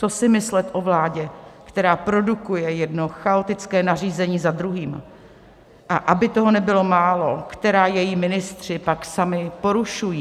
Co si myslet o vládě, která produkuje jedno chaotické nařízení za druhým, a aby toho nebylo málo, která její ministři pak sami porušují?